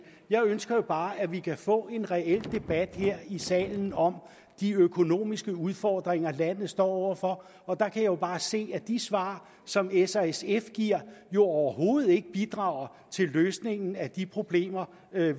jeg ønsker bare at vi kan få en reel debat her i salen om de økonomiske udfordringer landet står over for og der kan jeg jo bare se at de svar som s og sf giver overhovedet ikke bidrager til løsningen af de problemer